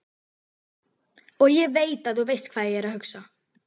Og ég veit að þú veist hvað ég hugsa.